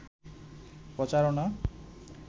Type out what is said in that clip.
প্রচারনা